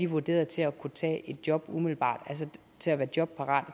vurderet til at kunne tage et job umiddelbart altså til at være jobparate